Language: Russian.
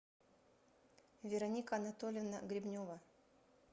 вероника анатольевна гребнева